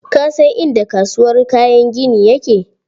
Ka san inda kasuwar kayan gini yake?